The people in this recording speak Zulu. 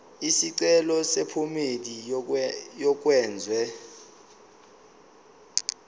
isicelo sephomedi yokwenze